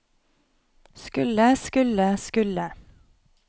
skulle skulle skulle